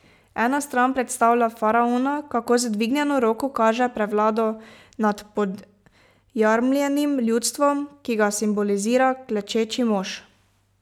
Ena stran predstavlja faraona, kako z dvignjeno roko kaže prevlado nad podjarmljenim ljudstvom, ki ga simbolizira klečeči mož.